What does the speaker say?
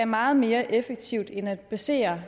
meget mere effektivt end at basere